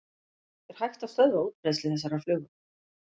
Er hægt að stöðva útbreiðslu þessarar flugu?